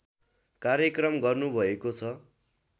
कार्यक्रम गर्नुभएको छ